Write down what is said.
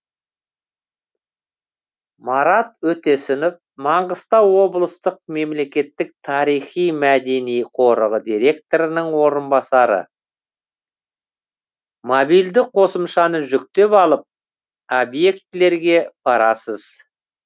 марат өтесінов маңғыстау облыстық мемлекеттік тарихи мәдени қорығы директорының орынбасары мобильді қосымшаны жүктеп алып объектілерге барасыз